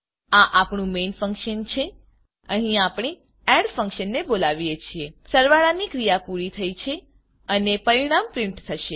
આ આપણું main function છે અહી આપણે એડ એડ ફંક્શનને બોલાવીએ છીએ સરવાળાની ક્રીયા પૂરી થઇ છે અને પરીણામ પ્રીંટ થશે